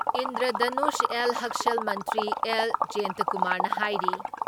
ꯏꯟꯗ꯭ꯔꯙꯅꯨꯁ ꯑꯦꯜ ꯍꯛꯁꯦꯜ ꯃꯟꯇ꯭ꯔꯤ ꯑꯦꯜ. ꯖꯌꯦꯟꯇꯀꯨꯃꯥꯔꯅ ꯍꯥꯏꯔꯤ